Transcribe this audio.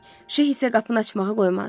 Şeyx isə qapını açmağa qoymazdı.